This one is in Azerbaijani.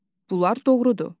Bunlar doğrudur.